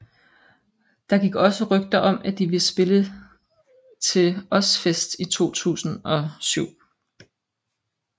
Der gik også rygter om at de ville spille til Ozzfest i 2007